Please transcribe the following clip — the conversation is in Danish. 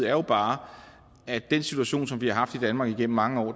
er jo bare at den situation som vi har haft i danmark igennem mange år